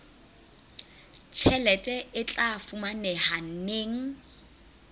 tjhelete e tla fumaneha neng